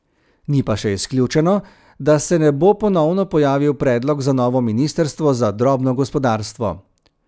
Ni pa še izključeno, da se ne bo ponovno pojavil predlog za novo ministrstvo za drobno gospodarstvo.